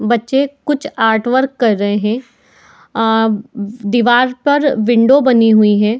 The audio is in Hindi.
बच्चे कुछ आर्टवर्क कर रहे हैं आ दीवार पर विंडो बनी हुई है।